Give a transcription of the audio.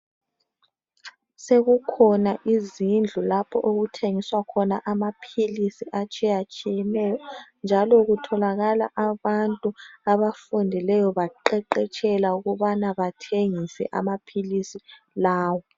Sekukhona izindlu lapho okuthengiswa khona amaphilisi atshiye tshiyeneyo njalo kutholakala abantu abafundileyo baqeqetshela ukubana bathengise amaphilisi lawa